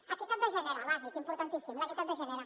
equitat de gènere bàsica importantíssima l’equitat de gènere